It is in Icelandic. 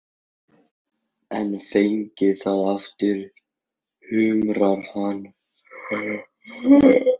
En fengið það aftur, kumrar hann.